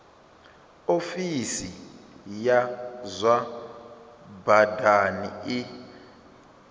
ofisi ya zwa badani i